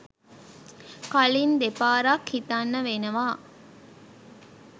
කලින් දෙපාරක් හිතන්න වෙනවා.